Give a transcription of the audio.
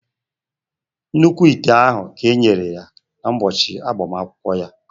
nnukwu ite ahụ e nyere ya kn ụbọchị agbamakwụkwọ ya